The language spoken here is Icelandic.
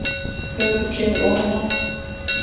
Þegar þú kemur ofan af